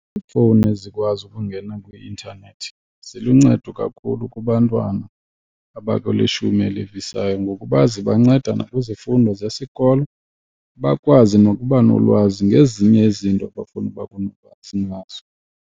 Iifowuni ezikwazi ukungena kwi-intanethi ziluncedo kakhulu kubantwana abakwilishumi elivisayo ngokuba zibanceda nakwizifundo zesikolo bakwazi nokuba nolwazi ngezinye izinto abafuna uba kunolwazi ngazo.